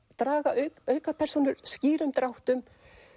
draga aukapersónur skýrum dráttum